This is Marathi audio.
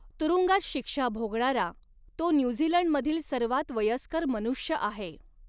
तुरुंगात शिक्षा भोगणारा तो न्यूझीलंडमधील सर्वात वयस्कर मनुष्य आहे.